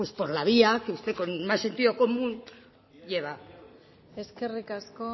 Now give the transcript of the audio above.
por la vía que usted con más sentido común lleva eskerrik asko